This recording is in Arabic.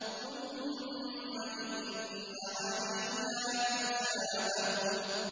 ثُمَّ إِنَّ عَلَيْنَا حِسَابَهُم